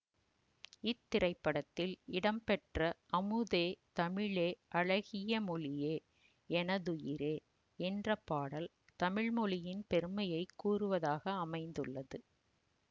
இத்திரைப்படத்தில் இடம்பெற்ற அமுதே தமிழே அழகிய மொழியே எனதுயிரே என்ற பாடல் தமிழ்மொழியின் பெருமையை கூறுவதாக அமைந்துள்ளது